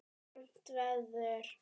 Fermt verður.